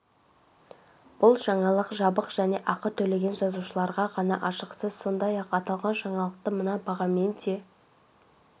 бұл жаңалық жабық және ақы төлеген жазылушыларға ғана ашық сіз сондай-ақ аталған жаңалықты мына бағамен де